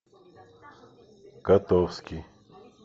котовский